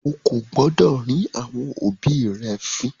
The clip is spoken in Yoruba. O kò gbọdọ̀ rín àwọn òbí rẹ fín!